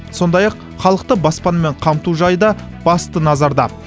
сондай ақ халықты баспанамен қамту жайы да басты назарда